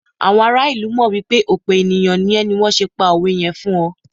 àwọn ará ilu mọ wipe òpe ènìyàn ní é ni wan se pa òwe yẹn fún ọ